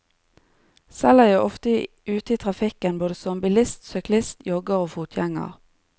Selv er jeg ofte ute i trafikken både som bilist, syklist, jogger og fotgjenger.